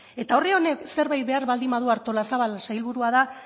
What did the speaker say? eta honek zerbait behar baldin badu artolazabal sailburua da